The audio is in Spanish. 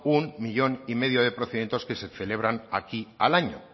un millón y medio de procedimientos que se celebran aquí al año